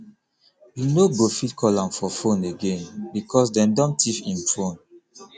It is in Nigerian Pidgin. you no go fit call am for fone again because dem don tiff im fone